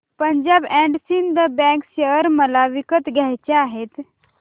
Punjab and Sind bank share मला विकत घ्यायचे आहेत